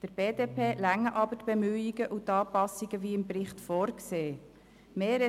Der BDP reichen jedoch die Bemühungen und Anpassungen, die gemäss Bericht vorgesehen sind.